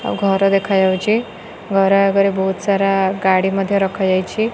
ଆଉ ଘର ଦେଖାଯାଉଚି ଘର ଆଗରେ ବହୁତ୍ ସାରା ଗାଡ଼ି ମଧ୍ୟ ରଖାଯାଇଛି।